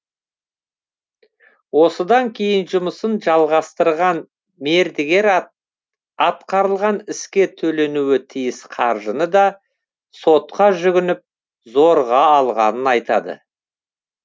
осыдан кейін жұмысын жалғастырған мердігер атқарылған іске төленуі тиіс қаржыны да сотқа жүгініп зорға алғанын айтады